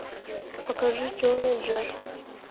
покажи черный джек